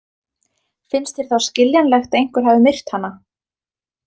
Finnst þér þá skiljanlegt að einhver hafi myrt hana?